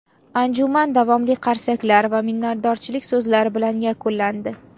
Anjuman davomli qarsaklar va minnatdorchilik so‘zlari bilan yakunlandi.